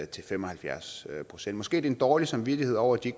til fem og halvfjerds procent måske det en dårlig samvittighed over at de